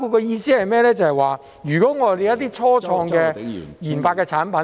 意思是說，如果我們有一些初創的研發產品......